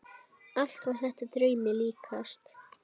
Allt var þetta draumi líkast.